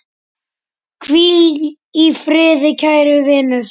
Hvíl í friði, kæri vinur!